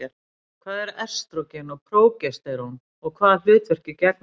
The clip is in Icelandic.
Hvað eru estrógen og prógesterón og hvaða hlutverki gegna þau?